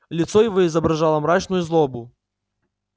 лицо его изображало мрачную злобу